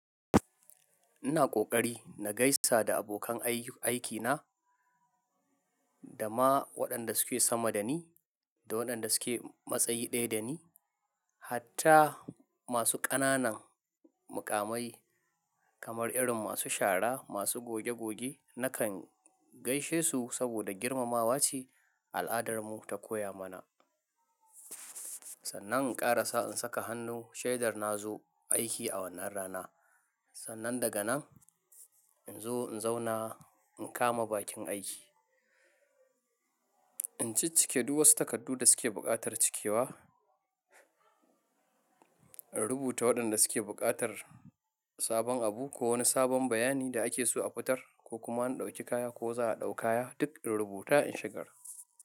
Ina ƙoƙari na gaisa da abokan aikina da ma waɗanda suke sama dani da waɗanda suke matsayi ɗaya dani. Hatta masu ƙananan muƙamai kamar irin masu shara, masu goge goge nakan gaishe su saboda girmamawa ce al'adarmu ta koya mana. Sannan in ƙarasa in saka hannu shaidar na zo aiki a wannan rana. Sannan daga nan in zo in zauna in kama bakin aiki. In ciccike duk wasu takardu da suke buƙatar cikewa. In rubuta waɗanda suke buƙatar sabon abu ko wani sabon bayani da ake so a fitar ko kuma an ɗauki kaya ko za a ɗau kaya duk in rubuta in shigar.